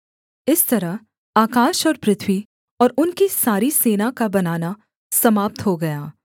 इस तरह आकाश और पृथ्वी और उनकी सारी सेना का बनाना समाप्त हो गया